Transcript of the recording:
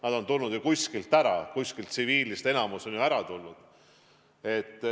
Nad on tulnud ju kuskilt ära, kuskilt tsiviilist on enamik ju ära tulnud.